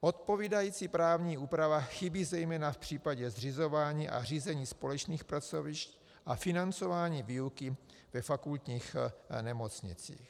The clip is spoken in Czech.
Odpovídající právní úprava chybí zejména v případě zřizování a řízení společných pracovišť a financování výuky ve fakultních nemocnicích.